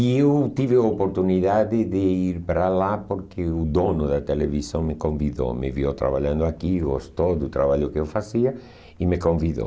E eu tive a oportunidade de ir para lá porque o dono da televisão me convidou, me viu trabalhando aqui, gostou do trabalho que eu fazia e me convidou.